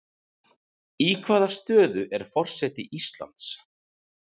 Í hvaða stöðu er forseti Íslands?